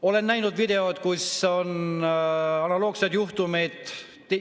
Olen näinud videot, kus on analoogseid juhtumeid.